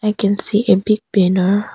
I can see a big banner.